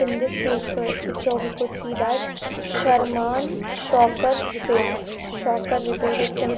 In this people picture we could see that Sharman shocker repair shocker repair it seems--